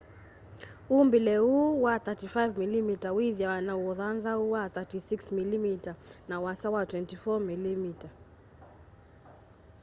umbile uu wa 35mm withiawa na ũthanthaũ wa 36mm na ũasa wa 24mm